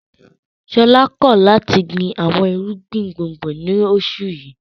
Ṣọlá kọ̀ láti gbin àwọn irúgbìn gbùngbùn lóṣù yìí.